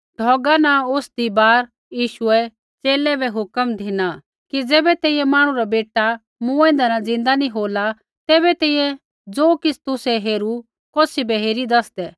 ढौगा न उतरदी बार यीशुऐ च़ेले बै हुक्म धिना कि ज़ैबै तैंईंयैं मांहणु रा बेटा मूँऐंदै न ज़िन्दा नी होला तैबै तैंईंयैं ज़ो किछ़ तुसै हेरू कौसी बै हेरीत् दसदै